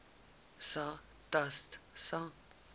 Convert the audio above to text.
sa stats sa